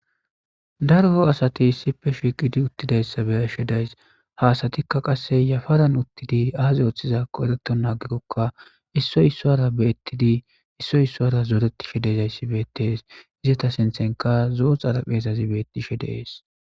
Daro asathi issippe shiiqidi uththidayssa be7ashee de7ays; ha asathikka qassi yafaran uththidi aaze uththidaakko ereththennan aggikokka issoy issuwara be7eththidi issoy issuwara zoreththishe de7iyaazassi beeththees; izetha sinththenkka zo7o xarapheeathi beeththishe de7ees.